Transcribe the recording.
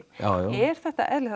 er þetta eðlilegt